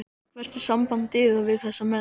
Hvert er samband yðar við þessa menn?